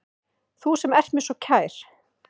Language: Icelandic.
Þú sem ert mér svo kær.